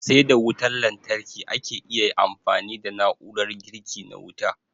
Sai da wutan lantarki ake iya amfani da na'urar girki na wuta.